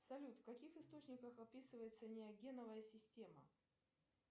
салют в каких источниках описывается неогеновая система